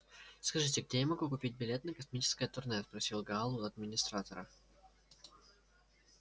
скажите где я могу купить билет на космическое турне спросил гаал у администратора